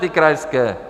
Ty krajské?